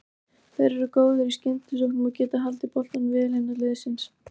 Þeir eru góðir í skyndisóknum og getað haldið boltanum vel innan liðsins.